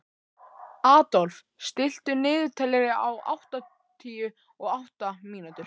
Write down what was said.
Adolf, stilltu niðurteljara á áttatíu og átta mínútur.